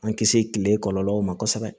An kisi tile kɔlɔlɔw ma kosɛbɛ